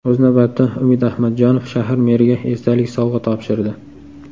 O‘z navbatida Umid Ahmadjonov shahar meriga esdalik sovg‘a topshirdi.